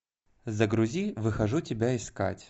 загрузи выхожу тебя искать